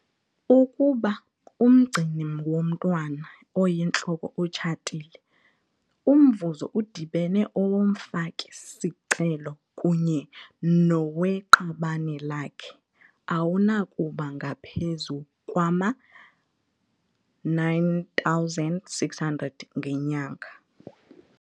Ukuba umgcini womntwana oyintloko utshatile, umvuzo udibene owomfaki-sicelo kunye noweqabane lakhe awunakuba ngaphezu kwama-R9 600 ngenyanga.